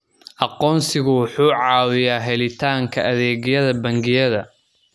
Aqoonsigu wuxuu caawiyaa helitaanka adeegyada bangiyada.